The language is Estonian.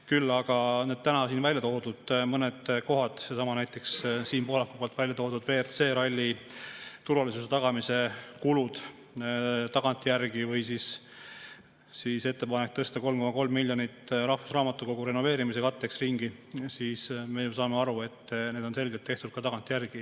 Küll aga täna siin välja toodud mõned, näiteks Siim Pohlaku välja toodud WRC ralli turvalisuse tagamise kulud või ettepanek tõsta ringi 3,3 miljonit rahvusraamatukogu renoveerimise katteks – me ju saame aru, et need on selgelt tehtud tagantjärgi.